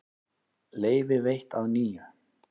Leyfi veitt að nýju